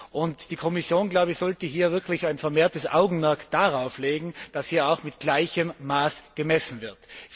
Und die Kommission sollte wirklich ein vermehrtes Augenmerk darauf legen, dass hier auch mit gleichem Maß gemessen wird.